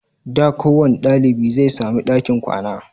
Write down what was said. Da kowanne dalibi zai sami ɗakin kwana